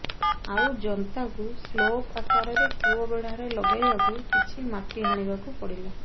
ଆଉ ଜନ୍ତାକୁ ସ୍ଲୋପ୍ ଆକାରରେ କୂଅ ବେଢ଼ାରେ ଲଗାଇବାକୁ କିଛି ମାଟି ହାଣିବାକୁ ପଡ଼ିଲା